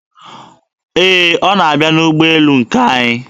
Ee, ọ na-abịa n'ụgbọelu nke anyị.